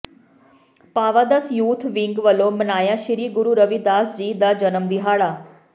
ਭਾਵਾਧਸ youth wing ਵਲੋਂ ਮਨਾਇਆ ਸ੍ਰੀ ਗੁਰੂ ਰਵਿਦਾਸ ਜੀ ਦਾ ਜਨਮ ਦਿਹਾੜਾ